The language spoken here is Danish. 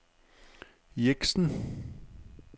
Jeksen